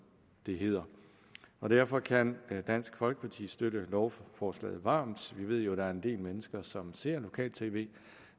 det hedder derfor kan dansk folkeparti støtte lovforslaget varmt vi ved jo der er en del mennesker som ser lokal tv